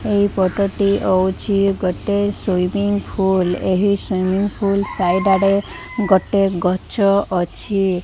ଏହି ଫୋଟୋ ଟି ହଉଛି ଗୋଟେ ସ୍ୱିମ୍ମିଂ ଫୁଲ ଏହି ସ୍ୱିମ୍ମିଂଫୁଲ ସାଇଡି ଆଡ଼େ ଗୋଟେ ଗଛ ଅଛି।